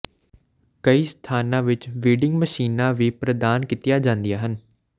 ਕਈ ਸਥਾਨਾਂ ਵਿੱਚ ਵੀਡਿੰਗ ਮਸ਼ੀਨਾਂ ਵੀ ਪ੍ਰਦਾਨ ਕੀਤੀਆਂ ਜਾਂਦੀਆਂ ਹਨ